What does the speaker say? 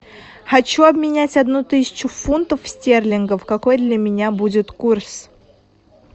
хочу обменять одну тысячу фунтов стерлингов какой для меня будет курс